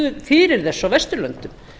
fyrir þessu á vesturlöndum